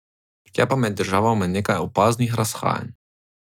Je pa med državama nekaj opaznih razhajanj.